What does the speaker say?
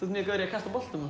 kasta boltum